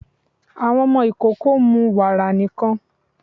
Àwọn ọmọ ikoko ń mú wàra nikan